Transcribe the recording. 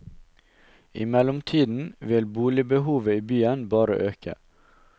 I mellomtiden vil boligbehovet i byen bare øke.